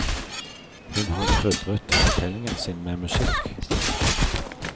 Hun har krydret fortellingen sin med musikk.